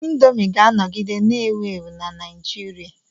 Indomi ga-anọgide na-ewu ewu na Naijiria.